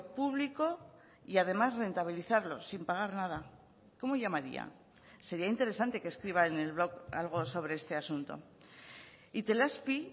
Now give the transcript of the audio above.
público y además rentabilizarlo sin pagar nada cómo llamaría sería interesante que escriba en el blog algo sobre este asunto itelazpi